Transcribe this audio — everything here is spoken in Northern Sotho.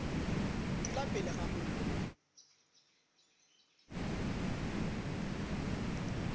dula pele ga mollo o